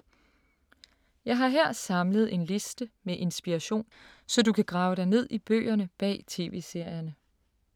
Jeg har her samlet en liste med inspiration, så du kan grave dig ned i bøgerne bag TV-serierne.